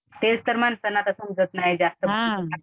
तेच तर माणसांना आता समजत नाही जास्त